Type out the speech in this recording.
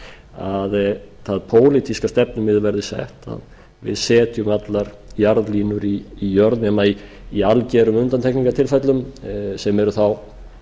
að það pólitíska stefnumið verði sett að við setjum allar jarðlínur í jörð nema í algerum undantekningartilfellum sem eru þá